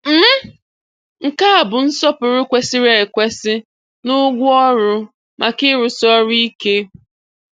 um Nke a bụ nsọpụrụ kwesịrị ekwesị na ụgwọ ọrụ maka ịrụsi ọrụ ike.